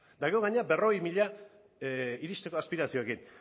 eta gero gainera berrogei mila iristeko aspiraziokin